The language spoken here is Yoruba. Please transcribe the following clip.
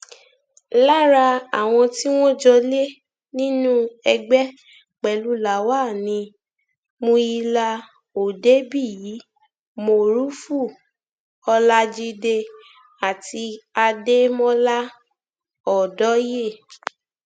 lára àwọn tí wọn jọ lé nínú ẹgbẹ pẹlú lawal ni muyala òdebíyí morufú ọlajide àti adémọlá ọdọyé